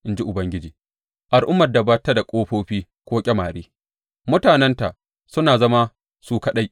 in ji Ubangiji, al’ummar da ba ta da ƙofofi ko ƙyamare; mutanenta suna zama su kaɗai.